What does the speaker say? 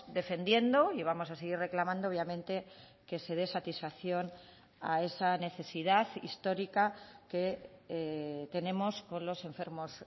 defendiendo y vamos a seguir reclamando obviamente que se dé satisfacción a esa necesidad histórica que tenemos con los enfermos